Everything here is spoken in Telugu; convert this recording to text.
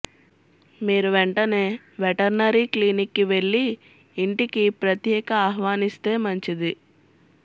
మీరు వెంటనే వెటర్నరీ క్లినిక్కి వెళ్లి ఇంటికి ప్రత్యేక ఆహ్వానిస్తే మంచిది